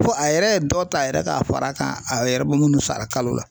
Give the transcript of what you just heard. Fo a yɛrɛ ye dɔ ta a yɛrɛ ye k'a fara kan a yɛrɛ bɛ munnu sara kalo la.